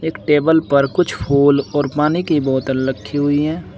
Table पर कुछ फूल और पानी की बोतल रखी हुई है।